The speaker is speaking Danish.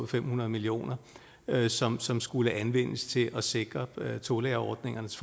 fem hundrede million kr som som skulle anvendes til at sikre tolærerordningernes